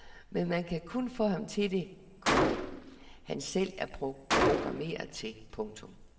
Men man kan kun få ham til det, komma han selv er programmeret til. punktum